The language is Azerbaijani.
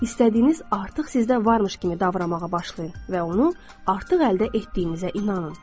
İstədiyiniz artıq sizdə varmış kimi davranmağa başlayın və onu artıq əldə etdiyinizə inanın.